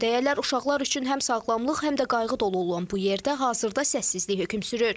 Necə deyərlər, uşaqlar üçün həm sağlamlıq, həm də qayğı dolu olan bu yerdə hazırda səssizlik hökm sürür.